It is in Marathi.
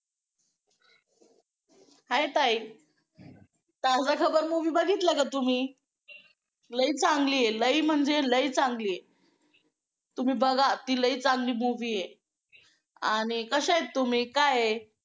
Hi ताई ताजा खबर movie बघितला का तुम्ही? लई चांगली आहे. लई म्हणजे लई चांगली आहे. तुम्ही बघा ती लई चांगली movie आहे आणि कशा आहेत तुम्ही काय आहे?